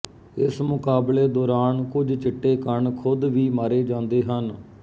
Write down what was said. ਇਸ ਮੁਕਾਬਲੇ ਦੌਰਾਨ ਕੁਝ ਚਿੱਟੇ ਕਣ ਖੁਦ ਵੀ ਮਾਰੇ ਜਾਂਦੇ ਹਨ